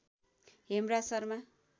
Hemraj Sharma